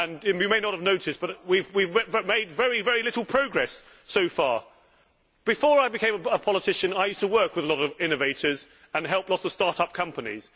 You may not have noticed, but we have made very little progress so far. Before I became a politician, I used to work with a lot of innovators and help lots of start up companies.